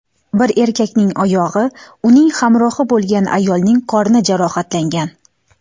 Bir erkakning oyog‘i, uning hamrohi bo‘lgan ayolning qorni jarohatlangan.